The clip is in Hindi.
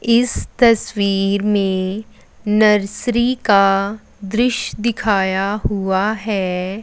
इस तस्वीर में नर्सरी का दृश्य दिखाया गया है।